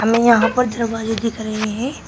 यहां पर दरवाजे दिख रहे हैं।